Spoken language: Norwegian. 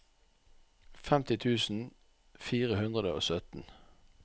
femti tusen fire hundre og sytten